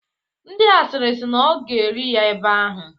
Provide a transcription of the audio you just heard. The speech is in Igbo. Ndị asịrị si na ọ ga-eli ya ebe ahụ.